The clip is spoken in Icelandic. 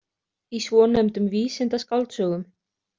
Í svonefndum vísindaskáldsögum.